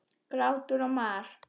Grátur og mar.